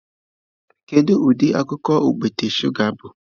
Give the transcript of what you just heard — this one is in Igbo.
Kedu ụdị akụkụ okpete shụga bụ?